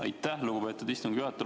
Aitäh, lugupeetud istungi juhataja!